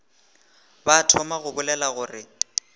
ba thoma go bolela gore